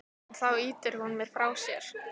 En þá ýtir hún mér frá sér.